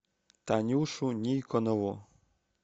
танюшу никонову